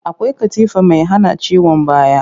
Akwai katifa mai hana ciwon baya